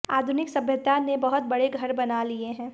आधुनिक सभ्यता ने बहुत बड़े घर बना लिए हैं